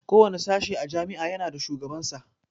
Kowane sashe a jami'a ya na da shugaban sa